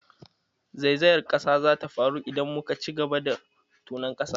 Zaizayar ƙasa za ta faru idan muka ci gaba da tonon ƙasar.